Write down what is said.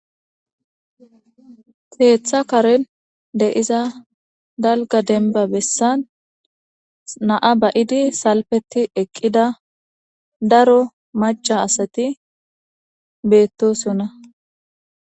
Keeththa karin deiza dalga denba bessan naa bayidi salpeti eqqida daro macha asati beettosonna.